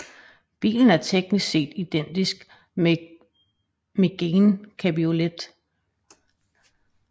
Bilen er teknisk set identisk med Mégane cabriolet